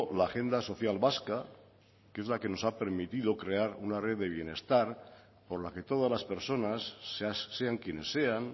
la agenda social vasca que es la que nos ha permitido crear una red de bienestar por la que todas las personas sean quienes sean